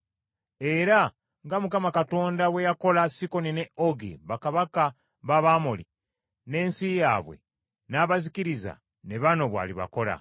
Era nga Mukama Katonda bwe yakola Sikoni ne Ogi, bakabaka b’Abamoli n’ensi yaabwe, n’abazikiriza, ne bano bw’alibakola.